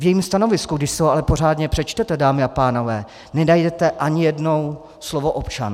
V jejím stanovisku, když si ho ale pořádně přečtete, dámy a pánové, nenajdete ani jednou slovo občan.